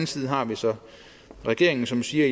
side har vi så regeringen som siger